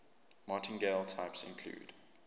martingale types include